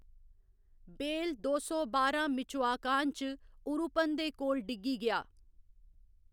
बेल दो सौ बारां मिचोआकान च उरुपन दे कोल डिग्गी गेआ।